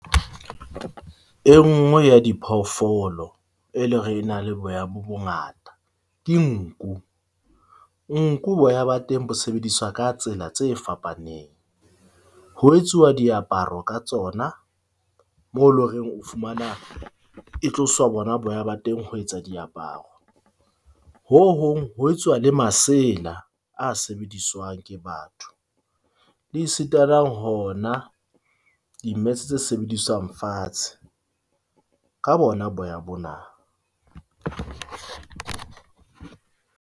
E nngwe ya diphoofolo, e leng hore e na le boya bo bongata ke nku. Nku boya ba teng bo sebediswa ka tsela tse fapaneng ho etsuwa diaparo ka tsona. Mo loreng o fumana e tloswa bona boya ba teng ho etsa diaparo. Ho hong, ho etsuwa le masela a sebedisaswang ke batho le esitana hona di-mats tse sebediswang fatshe ka bona boya bona.